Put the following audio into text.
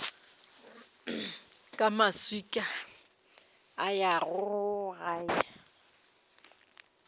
ka maswika a ya gae